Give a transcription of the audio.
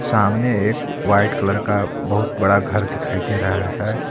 सामने एक white colour का बहुत बड़ा घर दिखाई दे रहा है।